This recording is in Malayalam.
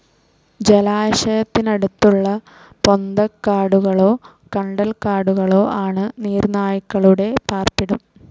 ജലാശയത്തിനടുത്തുളള പൊന്തക്കാടുകളോ കണ്ടൽക്കാടുകളോ ആണ് നീർനായകളുടെ പാർപ്പിടം.